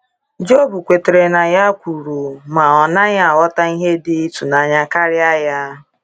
Job kwetara na ya kwuru, ma ọ naghị aghọta ihe dị ịtụnanya karịa ya.